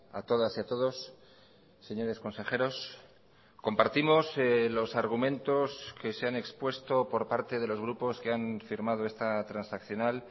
a todas y a todos señores consejeros compartimos los argumentos que se han expuesto por parte de los grupos que han firmado esta transaccional